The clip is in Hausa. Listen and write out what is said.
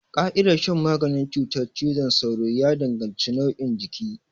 Ƙa'idar shan maganin cutar cizon sauro ya danganci nauyin jiki.